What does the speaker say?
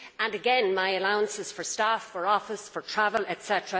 Again, my allowances for staff, for office, for travel, etc.